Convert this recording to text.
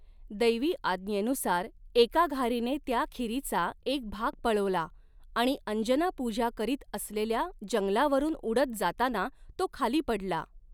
दैवी आज्ञेनुसार, एका घारीने त्या खीरीचा एक भाग पळवला आणि अंजना पूजा करीत असलेल्या जंगलावरून उडत जातांना तो खाली पडला.